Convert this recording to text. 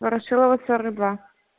ворошилова сорок два